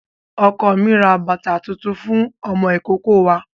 Ọkọ mi rà bàtà tuntun fún ọmọ ìkókó wa.